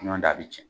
Ɲɔndɛ a bi cɛn